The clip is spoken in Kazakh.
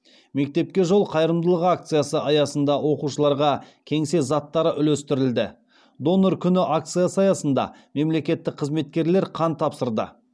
мектепке жол қайырымдылық акциясы аясында оқушыларға кеңсе заттары үлестірілді донор күні акциясы аясында мемлекеттік қызметкерлер қан тапсырды